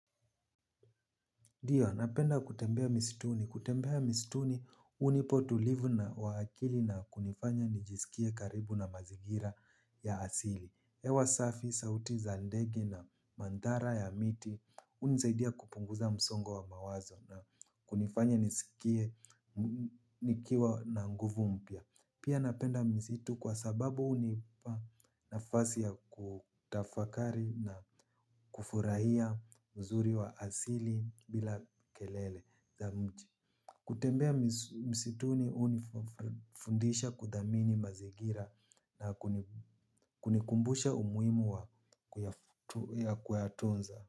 Ndiyo, napenda kutembea mistuni. Kutembea mistuni, hunipa utulivu na wa akili na kunifanya nijisikie karibu na mazingira ya asili. Hewa safi, sauti za ndege na mandara ya miti, hunsaidia kupunguza msongo wa mawazo na kunifanya nisikie nikiwa na nguvu mpya. Pia napenda misitu kwa sababu hunipa nafasi ya kutafakari na kufurahia uzuri wa asili bila kelele za mji. Kutembea msituni hunifundisha kudhamini mazingira na kunikumbusha umuhimu wa kuyatunza.